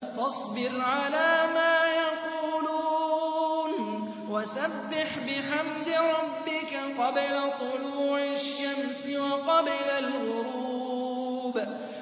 فَاصْبِرْ عَلَىٰ مَا يَقُولُونَ وَسَبِّحْ بِحَمْدِ رَبِّكَ قَبْلَ طُلُوعِ الشَّمْسِ وَقَبْلَ الْغُرُوبِ